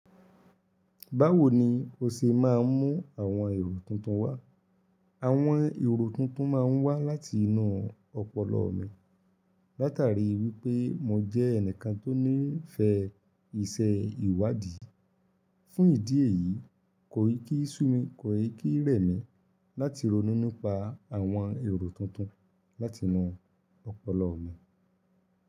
Báwo ni o ṣe máa ń mú àwọn èrò tuntun wá? Àwọn irò tuntun máa ń wá láti inú ọpọlọ mi látàrí wípé mo jẹ́ ẹnìkan tó nífẹ̀ẹ́ iṣẹ́ ìwádìí. Fún ìdí èyí, kò í kí sú mi, kò í kí rẹ̀ mí láti ronú nipa àwọn èrò tuntun láti inú ọpọlọ mi.